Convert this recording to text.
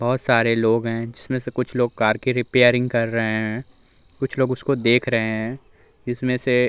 बहोत सारे लोग हैं जिसमें से कुछ लोग कार की रिपेरींग कर हैं। कुछ लोग उसको देख रहे हैं जिसमें से --